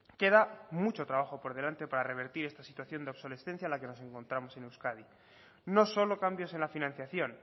queda mucho trabajo por delante para revertir esta situación de obsolescencia en la que nos encontramos en euskadi no solo cambios en la financiación